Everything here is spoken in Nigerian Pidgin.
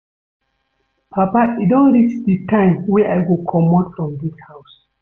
Papa e don reach the time wey I go comot from dis house